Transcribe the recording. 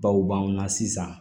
Baw b'anw na sisan